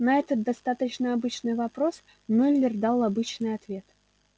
на этот достаточно обычный вопрос мюллер дал обычный ответ